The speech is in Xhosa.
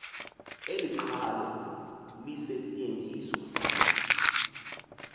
eli qhalo lisetyenziswa